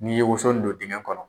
N'i ye woso don dingɛ kɔnɔ.